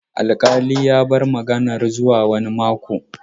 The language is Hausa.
Alkali ya bar maganan zuwa wani mako.